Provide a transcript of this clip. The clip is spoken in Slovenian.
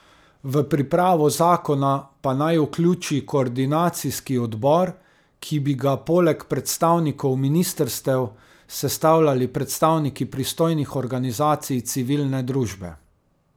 V pripravo zakona pa naj vključi koordinacijski odbor, ki bi ga poleg predstavnikov ministrstev sestavljali predstavniki pristojnih organizacij civilne družbe.